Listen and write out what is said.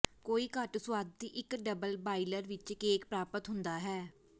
ਕੋਈ ਘੱਟ ਸੁਆਦੀ ਇੱਕ ਡਬਲ ਬਾਇਲਰ ਵਿੱਚ ਕੇਕ ਪ੍ਰਾਪਤ ਹੁੰਦਾ ਹੈ